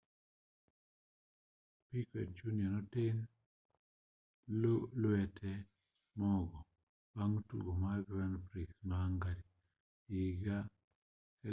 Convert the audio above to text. piquet jr noteng' lwete mogo bang' tugo mar grand prix ma hungary higa 2009